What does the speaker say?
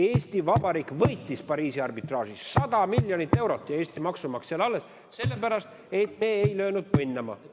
Eesti Vabariik võitis Pariisi arbitraažis, 100 miljonit eurot jäi Eesti maksumaksjale alles, sest me ei löönud põnnama.